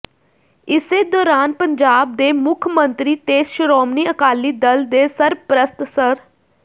ਇਸੇ ਦੌਰਾਨ ਪੰਜਾਬ ਦੇ ਮੁੱਖ ਮੰਤਰੀ ਤੇ ਸ਼੍ਰੋਮਣੀ ਅਕਾਲੀ ਦਲ ਦੇ ਸਰਪ੍ਰਸਤ ਸ੍ਰ